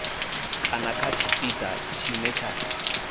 kana kha tshipiḓa tshine tsha